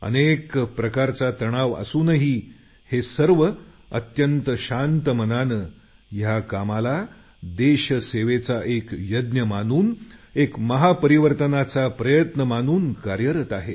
अनेक प्रकारचे तणाव असूनही हे सर्व अत्यंत शांत मनाने या कामाला देशसेवेचा एक यज्ञ मानून एक महापरिवर्तनाचा प्रयत्न मानून कार्यरत आहेत